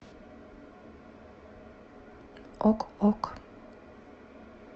ок ок